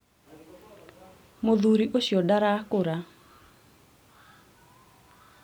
muthuri ũcio ndarakũra